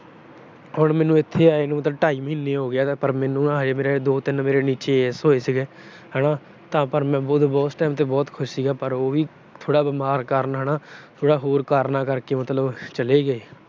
ਹੁਣ ਮੈਨੂੰ ਇੱਥੇ ਆਏ ਨੂੰ ਢਾਈ ਮਹੀਨੇ ਹੋ ਗਏ ਆ, ਪਰ ਮੇਰੇ ਦੋ ਤਿੰਨ ਨੀਚੇ ਹੋਏ ਸੀਗੇ ਹਨਾ, ਪਰ ਮੈਂ ਉਸ time ਤੇ ਬਹੁਤ ਖੁਸ਼ ਸੀਗਾ ਪਰ ਉਹ ਵੀ ਬੀਮਾਰ ਹੋਣ ਕਾਰਨ, ਹੋਰ ਕਾਰਨਾਂ ਕਰਕੇ ਚਲੇ ਗਏ।